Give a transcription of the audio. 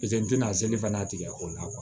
Piseke n tɛna se fana tigɛ o la